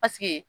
Paseke